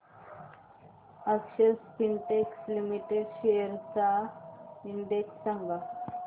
अक्षर Spintex limited shares चा index सांगा